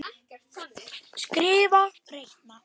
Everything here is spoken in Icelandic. Skrifa- reikna